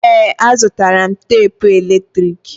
Ee, azụtara m tapụ eletrik.